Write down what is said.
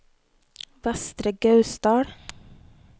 Vestre Gausdal